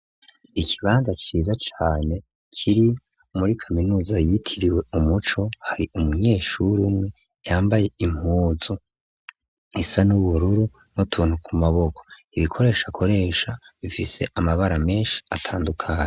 Ikibanza ciza cane ,kiri muri kaminuza yitiriwe Umuco hari umunyeshuri umwe yambaye impuzu isa n'ubururu n'utuntu ku maboko. Ibikoresho akoresha bifise amabara menshi atandukanye.